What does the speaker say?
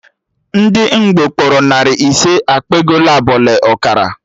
Ndị Ngbo kpọrọ narị ise, ekpe ego ebọ le ọkara